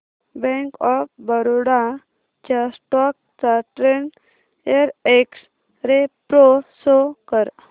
bank of Baroda च्या stock चा ten year x ray pro show कर